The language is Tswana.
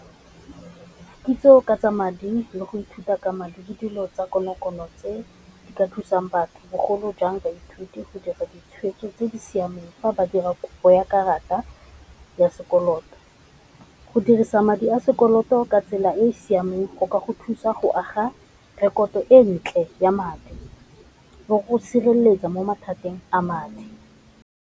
Kitso ka tsa madi le go ithuta ka madi dilo tsa konokono tse di ka thusang batho bogolo jang baithuti go dira ditshweetso tse di siameng fa ba dira kopo ya karata ya sekoloto, go dirisa madi a sekoloto ka tsela e e siameng go ka go thusa go aga rekoto e ntle ya madi le go sireletsa mo mathateng a madi.